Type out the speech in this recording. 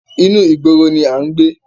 Inú ìgboro ni a ń gbé